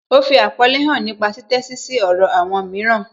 Ó fi àpọ́nlé hàn nípa títẹ́sí sí èrò àwọn mìíràn